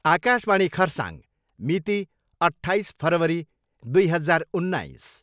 आकाशवाणी खरसाङ मिति, अट्ठाइस फरवरी दुई हजार उन्नाइस।